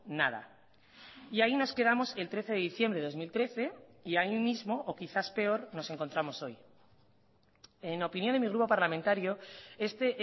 nada y ahí nos quedamos el trece de diciembre de dos mil trece y ahí mismo o quizás peor nos encontramos hoy en opinión de mi grupo parlamentario este